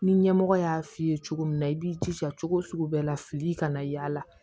Ni ɲɛmɔgɔ y'a f'i ye cogo min na i b'i jija cogo o cogo bɛɛ la fili kana y'a la